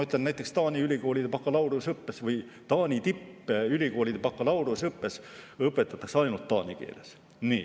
Näiteks Taani ülikoolide bakalaureuseõppes või Taani tippülikoolide bakalaureuseõppes õpetatakse ainult taani keeles.